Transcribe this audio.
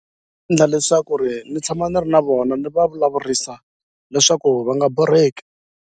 Endla leswaku ri ni tshama ni ri na vona ndzi va vulavurisa leswaku va nga borheki.